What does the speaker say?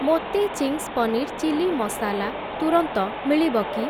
ମୋତେ Ching's paneer chilli masala ତୁରନ୍ତ ମିଳିବ କି?